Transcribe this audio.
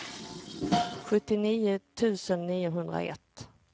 sjuttionio tusen niohundraett